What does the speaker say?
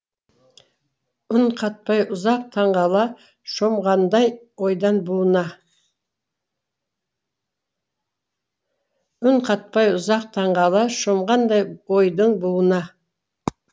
үн қатпай ұзақ таңғала шомғандай ойдын буына